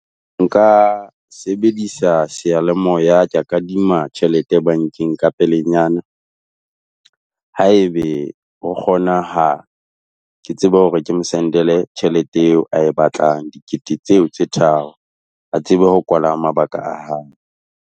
Nka sebedisa seyalemoya kea kadima tjhelete bankeng ka pelenyana. Haebe ho kgonahala. Ke tsebe hore ke mo send-ele tjhelete eo a e batlang. Dikete tseo tse tharo a tsebe ho kwala mabaka a hae.